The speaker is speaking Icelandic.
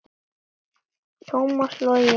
Tómas Logi.